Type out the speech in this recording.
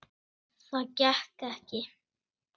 Það gekk ekki.